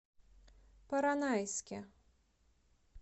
поронайске